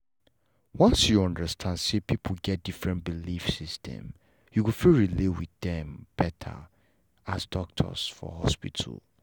once you understand say people get different belief system you go fit relate with dem better as doctors for hospital